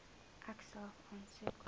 ek self aansoek